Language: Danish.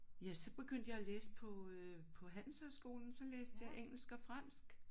Ja så begyndte jeg at læse på øh på handelshøjskolen så læste jeg engelsk og fransk